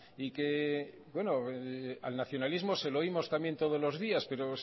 y que al nacionalismo se lo oímos también todos los días pero